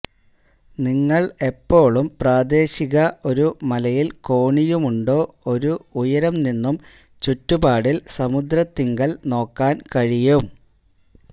നിങ്ങൾ എപ്പോഴും പ്രാദേശിക ഒരു മലയിൽ കോണിയുമുണ്ടോ ഒരു ഉയരം നിന്നും ചുറ്റുപാടിൽ സമുദ്രത്തിങ്കൽ നോക്കാൻ കഴിയും